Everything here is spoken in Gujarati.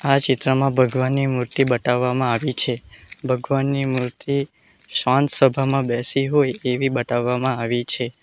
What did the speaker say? આ ચિત્રમાં ભગવાનની મૂર્તિ બતાવામાં આવી છે ભગવાનની મૂર્તિ શાંત સભામાં બેસી હોય એવી બતાવામાં આવી છે.